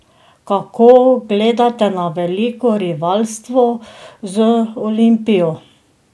Kako gledate na veliko rivalstvo z Olimpijo?